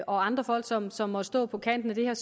og andre folk som som måtte stå på kanten af